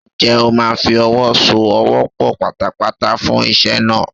Ǹjẹ́ o máa fi ọwọ́ so ọwọ́ pọ̀ pátápátá fún iṣẹ́ náà?